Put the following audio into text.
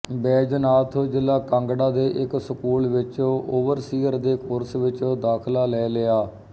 ਬੈਜਨਾਥ ਜ਼ਿਲ੍ਹਾ ਕਾਂਗੜਾ ਦੇ ਇੱਕ ਸਕੂਲ ਵਿੱਚ ਓਵਰਸੀਅਰ ਦੇ ਕੋਰਸ ਵਿੱਚ ਦਾਖ਼ਿਲਾ ਲੈ ਲਿਆ